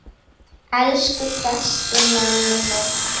Elsku besti Nonni minn.